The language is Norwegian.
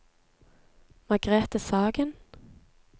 Margrete Sagen